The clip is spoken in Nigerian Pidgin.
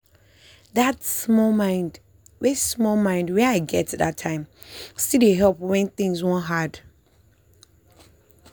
that small mind wey small mind wey i get that time still dey help when things wan hard.